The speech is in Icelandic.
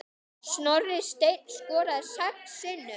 Snorri Steinn skoraði sex sinnum.